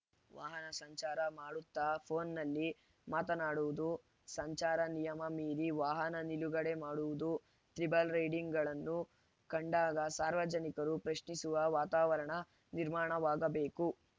ವಾಹನ ಸಂಚಾರ ಮಾಡುತ್ತಾ ಫೋನ್‌ನಲ್ಲಿ ಮಾತನಾಡುವುದು ಸಂಚಾರ ನಿಯಮ ಮೀರಿ ವಾಹನ ನಿಲುಗಡೆ ಮಾಡುವುದು ತ್ರಿಬಲ್‌ ರೈಡಿಂಗ್‌ಗಳನ್ನು ಕಂಡಾಗ ಸಾರ್ವಜನಿಕರು ಪ್ರಶ್ನಿಸುವ ವಾತಾವರಣ ನಿರ್ಮಾಣವಾಗಬೇಕು